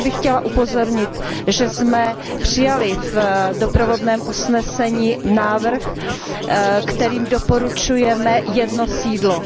Ještě bych chtěla upozornit, že jsme přijali v doprovodném usnesení návrh, kterým doporučujeme jedno sídlo.